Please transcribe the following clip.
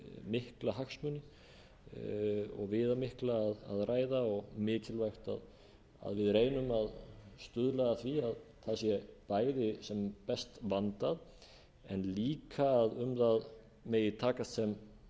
mikla hagsmuni og viðamikla að ræða og mikilvægt að við reynum að stuðla að því að það sé bæði sem best vandað en líka að um það megi takast sem